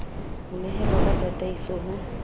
ho nehelawe ka tataiso ho